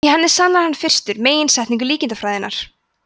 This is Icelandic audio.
í henni sannar hann fyrstu meginsetningu líkindafræðinnar